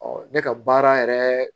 ne ka baara yɛrɛ